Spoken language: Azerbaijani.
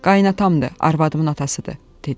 Qaynatamdı, arvadımın atasıdı, dedi.